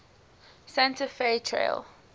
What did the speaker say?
santa fe trail